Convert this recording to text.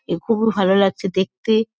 এ খুবু ভালো লাগছে দেখতে।